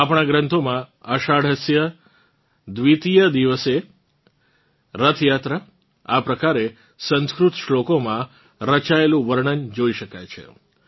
આપણાં ગ્રંથોમાં આષાઢસ્ય દ્વિતીયદિવસે રથયાત્રા આ પ્રકારે સંસ્કૃત શ્વોલોકોમાં રચાયેલું વર્ણન જોઇ શકાય છે